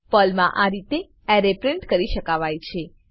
પર્લમાં આ રીતે એરે પ્રિન્ટ કરી શકાવાય છે